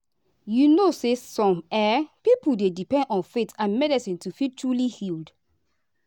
you know some um people dey depend on faith and medicine to feel truly healed.